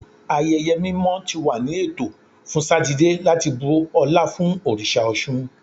Ayẹyẹ mimọ ti wa ni eto fun Satidee lati bu ọla fun oriṣa Ọṣun